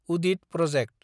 उदिद project